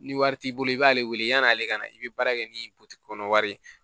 Ni wari t'i bolo i b'ale wele yan'ale ka na i bɛ baara kɛ ni kɔnɔ wari ye